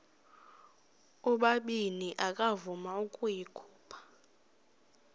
ubabini akavuma ukuyikhupha